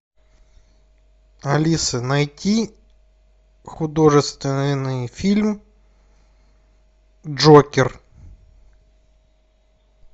алиса найти художественный фильм джокер